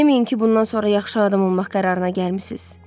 Deməyin ki, bundan sonra yaxşı adam olmaq qərarına gəlmisiz.